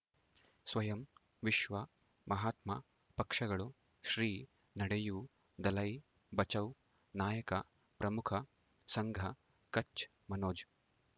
ಸ್ವಯಂ ವಿಶ್ವ ಮಹಾತ್ಮ ಪಕ್ಷಗಳು ಶ್ರೀ ನಡೆಯೂ ದಲೈ ಬಚೌ ನಾಯಕ ಪ್ರಮುಖ ಸಂಘ ಕಚ್ ಮನೋಜ್